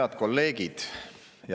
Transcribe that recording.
Head kolleegid!